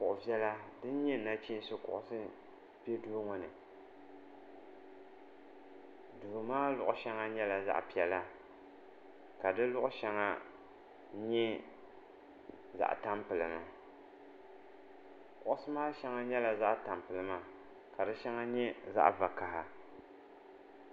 Kuɣi viɛla dinyɛ naɣichinsi kuɣusi bɛ duu ŋɔ ni duu maa luɣi shɛŋa nyɛla zaɣi piɛla ka di luɣi shɛŋa nyɛ zaɣi tampilima kuɣusi maa shɛŋa nyɛla zaɣi tampilima kari shɛŋa nyɛ zaɣi vakaha.